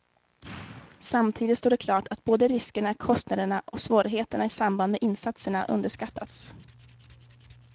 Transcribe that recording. Samtidigt står det klart att både riskerna, kostnaderna och svårigheterna i samband med insatserna underskattats.